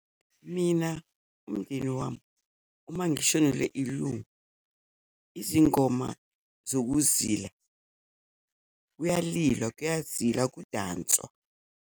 Mina umndeni wami uma ngishonelwe ilungu izingoma zokuzila, kuyalilwa, kuyazilwa akudanswa.